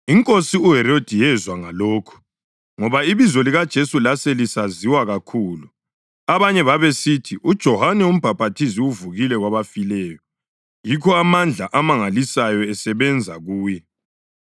Inkosi uHerodi yezwa ngalokhu, ngoba ibizo likaJesu laselisaziwa kakhulu. Abanye babesithi, “UJohane uMbhaphathizi uvukile kwabafileyo, yikho amandla amangalisayo esebenza kuye.”